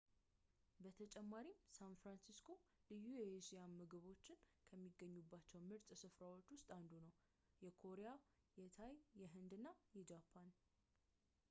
በተጨማሪም ሳን ፍራንሲስኮ ልዩ የእስያ ምግቦች ከሚገኙባቸ ምርጥ ስፍራዎች ውስጥ አንዱ ነው የኮሪያ የታይ የህንድ እና የጃፓን